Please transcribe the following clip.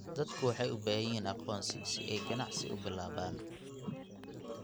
Dadku waxay u baahan yihiin aqoonsi si ay ganacsi u bilaabaan.